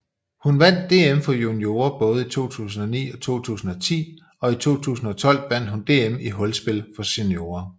Hun vandt DM for juniorer både i 2009 og 2010 og i 2012 vandt hun DM i hulspil for seniorer